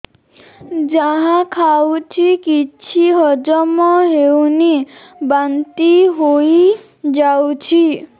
ଯାହା ଖାଉଛି କିଛି ହଜମ ହେଉନି ବାନ୍ତି ହୋଇଯାଉଛି